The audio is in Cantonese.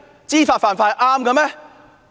知法犯法是正確嗎？